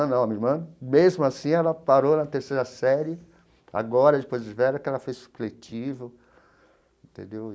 Não a minha irmã, mesmo assim, ela parou na terceira série, agora, depois de velha, que ela fez supletivo, entendeu?